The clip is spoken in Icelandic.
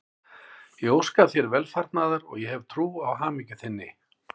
Ég óska þér velfarnaðar og ég hef trú á hamingju þinni.